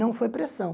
Não foi pressão.